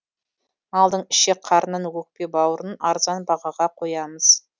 малдың ішек қарнын өкпе бауырын арзан бағаға қоямыз